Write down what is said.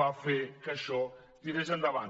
va fer que això tirés endavant